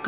آن